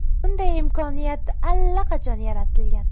Bunday imkoniyat allaqachon yaratilgan.